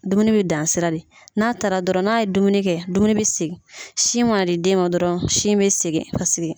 Dumuni bɛ dan sira de n'a taara dɔrɔn n'a ye dumuni kɛ dumuni bɛ segin sin mana di den ma dɔrɔn sin bɛ segin